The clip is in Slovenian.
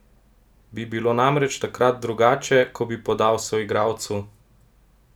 Bi bilo namreč takrat drugače, ko bi podal soigralcu?